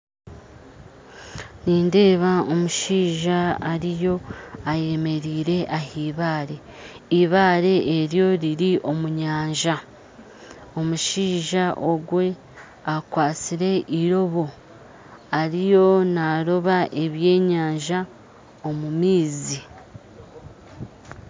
Nindeeba omushaija ariyo ayemereire ah'ibare ibare eryo riri omu nyanja omushaija ogwe akwatsire irobo ariyo naroba ebyenyanja omumaizi.